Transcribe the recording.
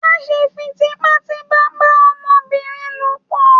Ma ṣe fi tipatipa ba ọmọbìnrin ló pọ!